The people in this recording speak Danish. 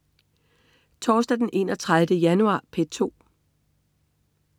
Torsdag den 31. januar - P2: